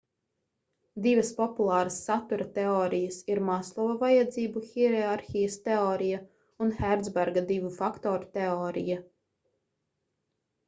divas populāras satura teorijas ir maslova vajadzību hierarhijas teorija un hercberga divu faktoru teorija